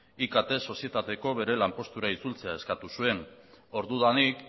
ikt sozietateko bere lanpostura itzultzea eskatu zuen ordudanik